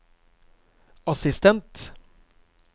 assistent